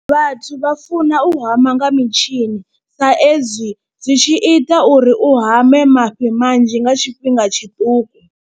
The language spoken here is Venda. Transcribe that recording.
Vhathu vha funa u hama nga mitshini sa ezwi zwi tshi ita uri u hame mafhi manzhi nga tshifhinga tshiṱuku.